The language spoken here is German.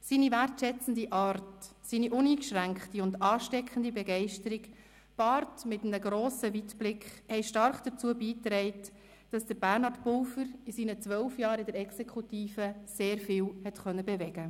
Seine wertschätzende Art, seine uneingeschränkte und ansteckende Begeisterung, gepaart mit grossem Weitblick, haben stark dazu beigetragen, dass Bernhard Pulver in seinen zwölf Jahren in der Exekutive sehr viel bewegen konnte.